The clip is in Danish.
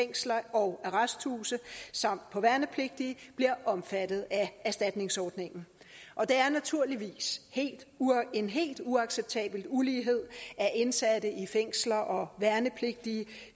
fængsler og arresthuse samt på værnepligtige bliver omfattet af erstatningsordningen det er naturligvis en helt uacceptabel ulighed at indsatte i fængsler og værnepligtige